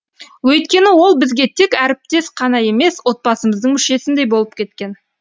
өйткені ол бізге тек әріптес қана емес отбасымыздың мүшесіндей болып кеткен